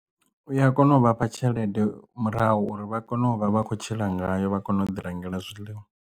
U ya kona u vhafha tshelede murahu uri vha kone u vha vha khou tshila ngayo vha kone u ḓi rengela zwiḽiwa.